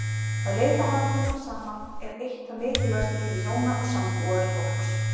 Að leita hamingjunnar saman er eitt það mikilvægasta í lífi hjóna og sambúðarfólks.